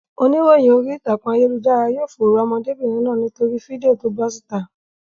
Oníròyìn orí ìtàkùn ayélujára yóò fòòró ọmọdébìnrin náà nítorí fídíò to bọ́ síta.